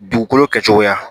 Dugukolo kɛcogoya